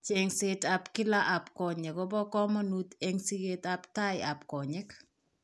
Cheng'seet ab kila ab konyek kobo komonut eng' siket ab tai ab konyek